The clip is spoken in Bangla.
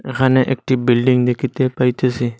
এখানে একটি বিল্ডিং দেখিতে পাইতেসি।